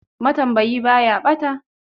Matambayi ba ya ɓata.